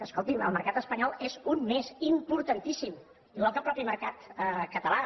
escolti el mercat espanyol és un més importantíssim igual que el mateix mercat català